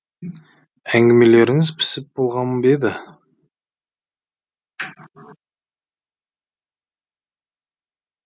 әңгімелеріңіз пісіп болған ба еді